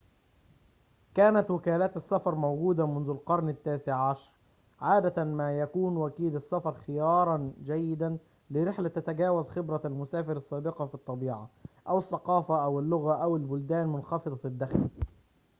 كانت وكالات السفر موجودة منذ القرن التاسع عشر . عادة ما يكون وكيل السفر خيارًا جيدًا لرحلة تتجاوز خبرة المسافر السابقة في الطبيعة، أو الثقافة، أو اللغة أو البلدان منخفضة الدخل